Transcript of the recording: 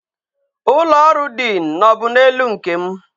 Ụlọ ọrụ diin nọ bụ n'elu nke m